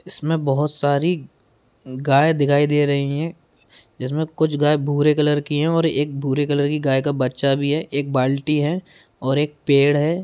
इसमें बोहोत सारी गाय दिखाई दे रही हैं जिसमें कुछ गाय भूरे कलर की हैं और एक भूरे कलर की गाय का बच्चा भी है एक बाल्टी है और एक पेड़ है।